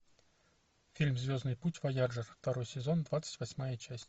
фильм звездный путь вояджер второй сезон двадцать восьмая часть